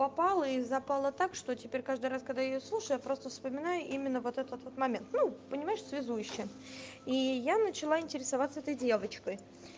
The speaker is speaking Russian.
попала и запало так что теперь каждый раз когда я её слушаю я просто вспоминаю именно вот этот вот момент ну понимаешь связующее и я начала интересоваться этой девочкой